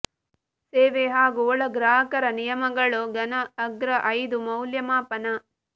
ಸೇವೆ ಹಾಗೂ ಒಳ ಗ್ರಾಹಕರ ನಿಯಮಗಳು ಘನ ಅಗ್ರ ಐದು ಮೌಲ್ಯಮಾಪನ